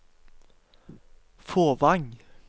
Fåvang